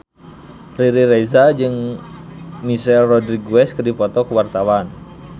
Riri Reza jeung Michelle Rodriguez keur dipoto ku wartawan